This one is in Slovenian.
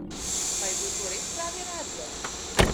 Pa je bil to res pravi razlog?